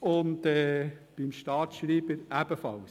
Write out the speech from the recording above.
Für den Staatsschreiber gilt dasselbe.